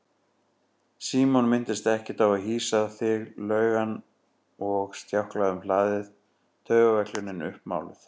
Símon minntist ekkert á að hýsa þig laug hann og stjáklaði um hlaðið, taugaveiklunin uppmáluð.